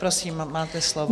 Prosím, máte slovo.